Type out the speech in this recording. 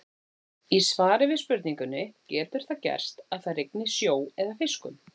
Í svari við spurningunni Getur það gerst að það rigni sjó eða fiskum?